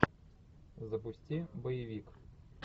запусти боевик